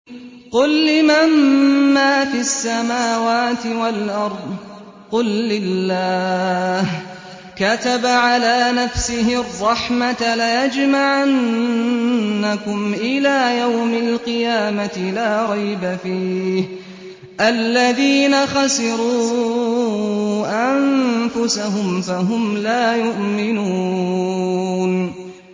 قُل لِّمَن مَّا فِي السَّمَاوَاتِ وَالْأَرْضِ ۖ قُل لِّلَّهِ ۚ كَتَبَ عَلَىٰ نَفْسِهِ الرَّحْمَةَ ۚ لَيَجْمَعَنَّكُمْ إِلَىٰ يَوْمِ الْقِيَامَةِ لَا رَيْبَ فِيهِ ۚ الَّذِينَ خَسِرُوا أَنفُسَهُمْ فَهُمْ لَا يُؤْمِنُونَ